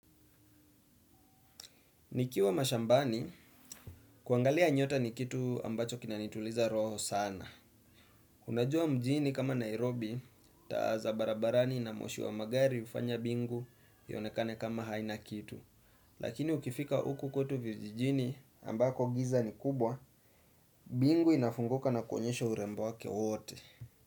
Nikiwa mashambani kuangalia nyota ni kitu ambacho kinanituliza roho sana. Unajua mjini kama Nairobi taa za barabarani na moshi wa magari hufanya bingu ionekane kama haina kitu. Lakini ukifika uku kwetu vijijini ambako giza ni kubwa bingu inafunguka na kuonyesho urembo wake wote.